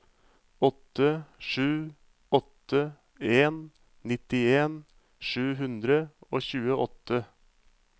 åtte sju åtte en nittien sju hundre og tjueåtte